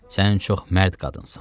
Sən çox mərd qadınsan.